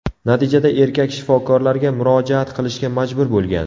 Natijada erkak shifokorlarga murojaat qilishga majbur bo‘lgan.